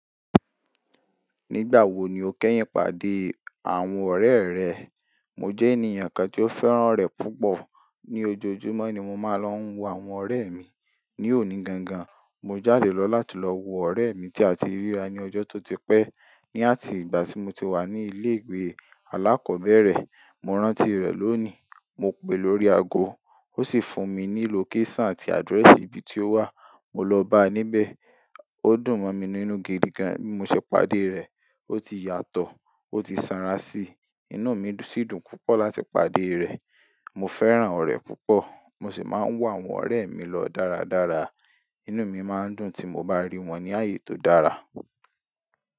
Nígbà wo ni o kẹ́yìn pàdé àwọn ọ̀rẹ́ rẹ? Mo jẹ́ ènìyàn kan tí ó fẹ́ràn orẹ̀ púpọ̀. Ni ojoojúmọ́ ni mo máa ń lọ wo àwọn ọ̀rẹ́ mi. Ni òní gangan, mo jáde lọ láti lọ wo ọ̀rẹ́ mi tí a ti ríra ní ọjọ́ tó ti pẹ́. Ni àti ìgbà tí mo ti wà ní ilé ìwé alákọ̀ọ́bẹ̀rẹ̀. Mo rántí rẹ̀ lónìí. Mo pè lórí aago, ó sì fún mi ní location àti address ibi tí ó wà. Mo lọ bá a níbẹ̀. Ó dùn mọ́ mi nínú gidi gan bí mo ṣe pàdé rẹ̀. Ó ti yàtọ̀, ó ti sanra síi. Inú mi sì dùn púpọ̀ láti pàdé rẹ̀. Mo fẹ́ràn ọ̀rẹ́ púpọ̀. Mo sì máa ń wo àwọn ọ̀rẹ́ mi lọ dáradára. Inú mi máa ń dùn tí mo bá rí wọn ní àyè tó dára.